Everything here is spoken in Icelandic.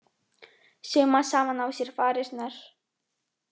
Sauma saman á sér varirnar